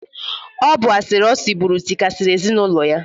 Ọ bụ asịrị o sịbụrụ tịkasịrị ezinaụlọ ya.